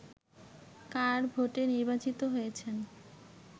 কার ভোটে নির্বাচিত হয়েছেন